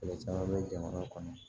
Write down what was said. Kɛlɛ caman bɛ jamana kɔnɔ